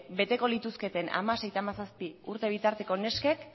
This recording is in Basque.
beteko lituzketen hamasei eta hamazazpi urte bitarteko neskek